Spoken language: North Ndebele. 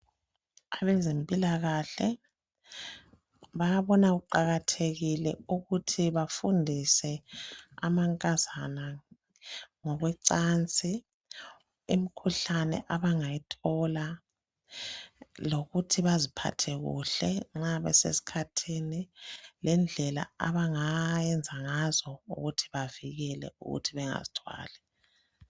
Abezempilakahee bayabona kuqakathekile ukuthi bafundise amankazana ngokocansi imikhuhlane abangayithola lokuthi baziphathe kuhle nxa besesikhathini lendlela abanga yenza ngazo ukuthi bavikele ukuthi bengazithwali